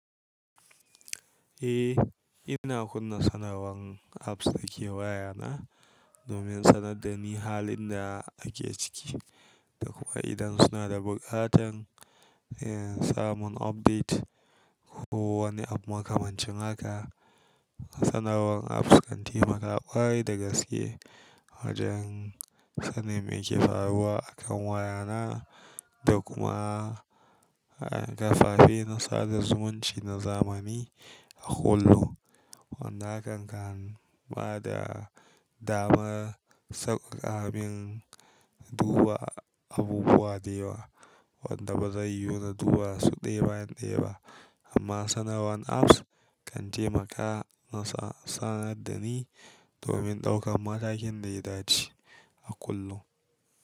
Eh, ina kunna sanarwar apps da ke wayana domin sanar da ni halin da ake ciki da kuma idan suna da buƙatar, samun update ko wani abu makamacin haka. Sanarwar apps kan taimakawa ƙwarai da gaskiya wajen sanin me ke faruwa a kan wayana da kuma, a, kafafe na sada zumunci na zamani a kullum. Wanda hakan kan bada damar sauƙaƙa bin duba abubuwa da yawa wanda ba zai yiwu na duba su ɗaya bayan ɗaya ba. Amma sanarwan apps kan taimaka ya sanar da ni domin ɗaukan matakin da ya dace a kullum.